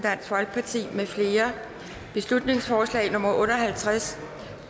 mfl beslutningsforslag nummer b otte og halvtreds